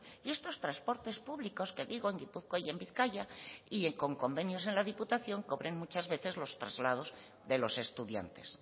y estos transportes públicos que digo en gipuzkoa y en bizkaia y con convenios en la diputación cobran muchas veces los traslados de los estudiantes